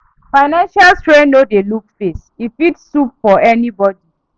Financial strain no dey look face; e fit sup for anybodi.